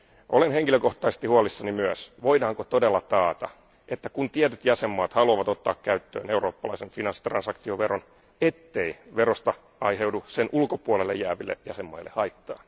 Olen henkilökohtaisesti huolissani myös, voidaanko todella taata, että kun tietyt jäsenvaltiot haluavat ottaa käyttöön eurooppalaisen finanssitransaktioveron, ettei verosta aiheudu sen ulkopuolelle jääville jäsenvaltioille haittaa.